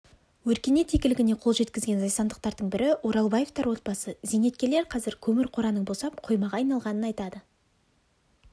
өркениет игілігіне қол жеткізген зайсандықтардың бірі оралбаевтар отбасы зейнеткерлер қазір көмір қораның босап қоймаға айналғанын айтады